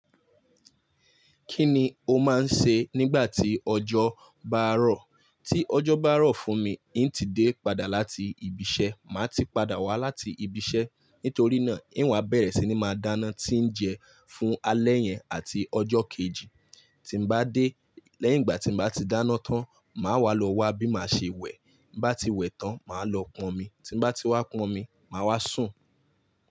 Kíni o máa ń ṣe nígbà tí ọjọ́ bá rọ̀? Tí ọjọ́ bá rọ̀ fún mi, n tí dé padà láti ibi iṣẹ́, màá ti padà wá láti ibi iṣẹ́. Nítorí náà, n wá bẹ̀rẹ̀ sí ní máa dáná tí ń jẹ fún alẹ́ yẹn àti ọjọ́ kejì. Tí n bá dé, lẹ́yìn ìgbà tí n bá ti dáná tán, màá wá lọ wá bí máa ṣe wẹ̀. Bá ti wẹ̀ tán, màá lọ pọn omi. Tí n bá ti wá pọn omi, màá wá sùn.